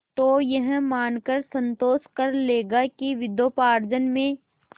तो यह मानकर संतोष कर लेगा कि विद्योपार्जन में